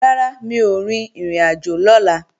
Rárá, mi ò rin ìrìnàjò lọ́la